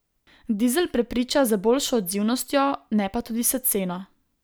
Dizel prepriča z boljšo odzivnostjo, ne pa tudi s ceno.